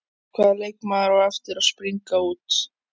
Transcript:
Hvaða leikmaður á eftir að springa út?